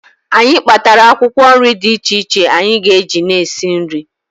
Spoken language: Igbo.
Anyị kpatara akwụkwọ nri dị iche iche anyị ga-eji na-esi nri